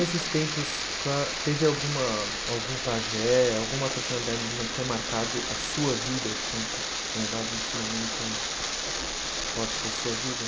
Nesses tempos, teve alguma algum pajé, alguma personalidade indígena que tenha marcado a sua vida, que tenha dado um ensinamento forte para a sua vida?